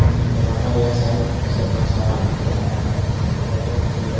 उम्म चपाकल है शायद उसका थोड़ा सा फोटो आया है और दो गाड़िया भी खड़ी है।